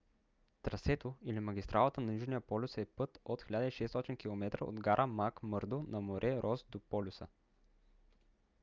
трасето или магистралата на южния полюс е път от 1600 км от гара макмърдо на море рос до полюса